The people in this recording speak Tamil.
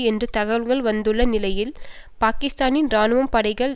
என்ற தகவல்கள் வந்துள்ள நிலையில் பாக்கிஸ்தானின் இராணுவ படைகள்